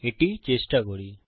এটি চেষ্টা করি